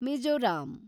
Mizoram